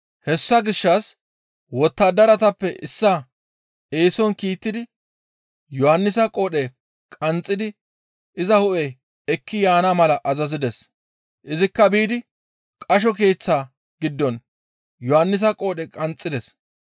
Hessa gishshas wottadaratappe issaa eeson kiittidi Yohannisa qoodhe qanxxidi iza hu7e ekki yaana mala azazides; izikka biidi qasho keeththaa giddon Yohannisa qoodhe qanxxides.